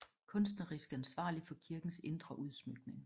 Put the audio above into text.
Kunstnerisk ansvarlig for kirkens indre udsmykning